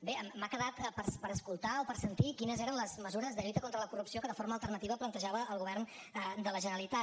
bé m’ha quedat per escoltar o per sentir quines eren les mesures de lluita contra la corrupció que de forma alternativa plantejava el govern de la generalitat